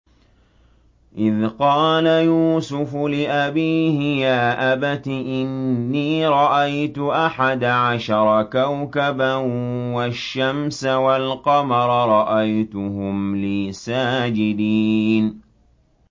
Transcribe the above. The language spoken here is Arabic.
إِذْ قَالَ يُوسُفُ لِأَبِيهِ يَا أَبَتِ إِنِّي رَأَيْتُ أَحَدَ عَشَرَ كَوْكَبًا وَالشَّمْسَ وَالْقَمَرَ رَأَيْتُهُمْ لِي سَاجِدِينَ